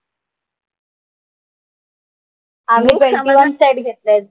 आम्ही twenty one set घेतलेत.